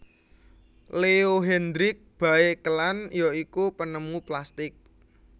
Leo Hendrik Baekeland ya iku penemu plastik